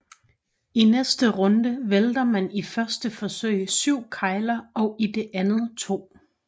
I næste runde vælter man i første forsøg 7 kegler og i det andet 2